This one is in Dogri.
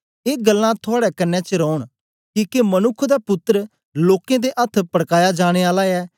ए गल्लां थुआड़े कन्ने च रौन किके मनुक्ख दा पुत्तर लोकें दे अथ्थ पड़काया जाने आला ऐ